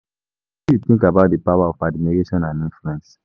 Wetin you think about di power of admiration and influence?